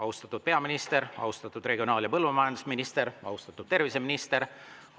Austatud peaminister, austatud regionaal- ja põllumajandusminister, austatud terviseminister!